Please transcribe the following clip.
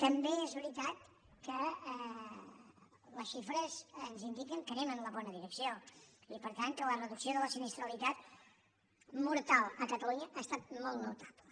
també és veritat que les xifres ens indiquen que anem en la bona direcció i per tant que la reducció de la sinistralitat mortal a catalunya ha estat molt notable